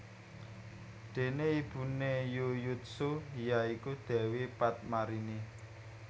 Dene ibune Yuyutsuh ya iku Dewi Padmarini